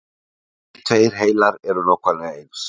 engir tveir heilar eru nákvæmlega eins